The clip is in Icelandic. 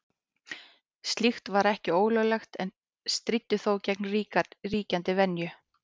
Slíkt var ekki ólöglegt en stríddi þó gegn ríkjandi venju.